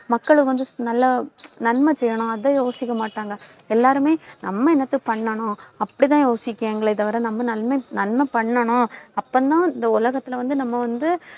மக்களை வந்து, நல்லா நன்மை செய்யணும் அதை யோசிக்க மாட்டாங்க. எல்லாருமே நம்ம என்னத்த பண்ணணும் அப்படிதான் யோசிக்கிறாங்களே தவிர நம்ம நன்மை நன்மை பண்ணணும். அப்பதான் இந்த உலகத்துல வந்து நம்ம வந்து